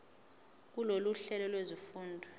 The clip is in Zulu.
kulolu hlelo lwezifundo